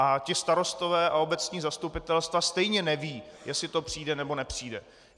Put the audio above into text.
A ti starostové a obecní zastupitelstva stejně nevědí, jestli to přijde, nebo nepřijde.